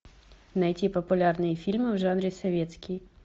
найти популярные фильмы в жанре советский